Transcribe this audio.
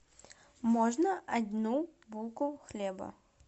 можно одну булку хлеба